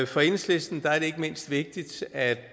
for enhedslisten er det ikke mindst vigtigt at